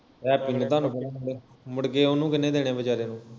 happy ਦਾ ਤੁਹਾਨੂੰ number ਮੁੜਕੇ ਉਹਨੂੰ ਕਿਹਨੇ ਦਿਨੇ ਵਿਚਾਰੇ ਨੂੰ